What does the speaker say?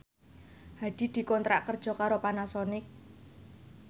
Hadi dikontrak kerja karo Panasonic